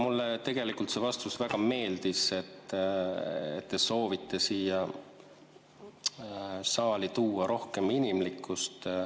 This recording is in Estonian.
Mulle tegelikult see vastus väga meeldis, et te soovite siia saali tuua rohkem inimlikkust.